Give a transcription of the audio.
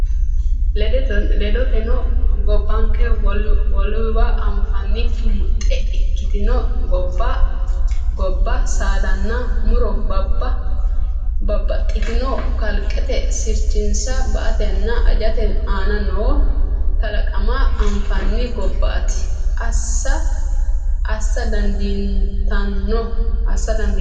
Ledoteno, gobbanke wolewa anfannikki muxxe ikkitino gobba saadanna mu’ro bab baxxitino kalqete sirchinsa ba”atenna ajate aana noo kalaqama anfanni gobbaati, assa dandiitanno?